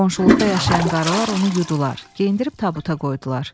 Qonşuluqda yaşayan qarılar onu yudular, geyindirib tabuta qoydular.